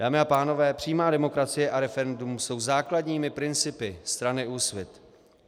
Dámy a pánové, přímá demokracie a referendum jsou základními principy strany Úsvit.